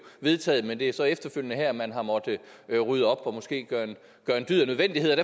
vedtaget men det er så efterfølgende her at man har måttet rydde op og måske gøre en dyd af nødvendigheden